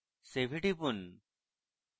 save এ টিপুন